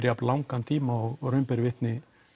jafn langan tíma og raun ber vitni